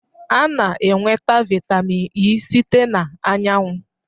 A na-enweta vitamin E site na anyanwụ